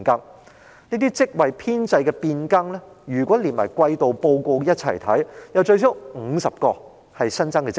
若將這些職位編制變更連同上一季度報告一併審視，可發現最少有50個屬新增職位。